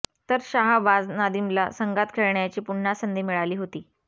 तर शाहबाज नादीमला संघात खेळण्याची पुन्हा संधी मिळाली होती